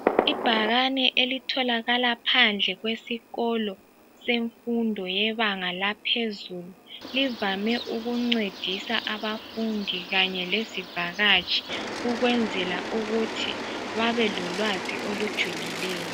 Ibhakane elitholakala phandle kwesikolo semfundo yebanga laphezulu, livame ukuncedisa abafundi kanye lezivakatshi ukwenzela ukuthi babelolwazi olujulileyo.